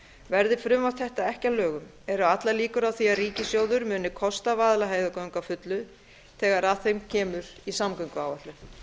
verði frumvarp þetta ekki að lögum eru allar líkur á því að ríkissjóður muni kosta vaðlaheiðargöng að fullu þegar að þeim kemur á samgönguáætlun